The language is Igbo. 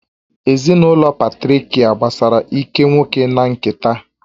Ezinụlọ Patrịakial gbasara ike nwoke na nketa